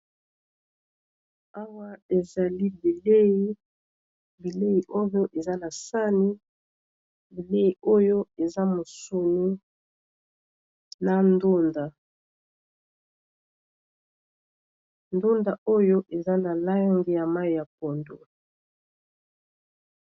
Awa ezali bileyi ,bileyi oyo eza na sani bileyi oyo eza mosoni na ndunda. ndunda oyo eza na lange ya mayi ya pondu .